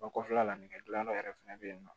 O kɔfɛla la nɛgɛ dilanyɔrɔ yɛrɛ fɛnɛ bɛ yen nɔ